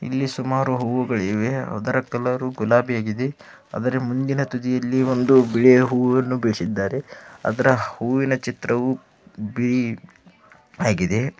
ಇಲ್ಲಿ ಸುಮಾರು ಹೂವುಗಳಿವೆ ಅದರ ಕಲರ್ ಗುಲಾಬಿ ಆಗಿದೆ ಅದರ ಮುಂದಿನ ತುದಿಯಲಿ ಒಂದು ಬಿಳಿಯ ಹೂವುವನ್ನುಬಿಳಸಿದ್ದಾರೆ ಅದರ ಹೂವಿನ ಚಿತ್ರವು ಬಿಳಿ ಆಗಿದೆ.